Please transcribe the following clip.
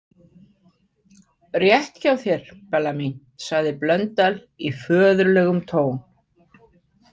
Rétt hjá þér, Bella mín, sagði Blöndal í föðurlegum tón.